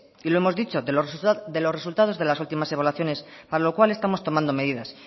y lo hemos dicho de los resultados de las últimas de evaluaciones para lo cual estamos tomando medidas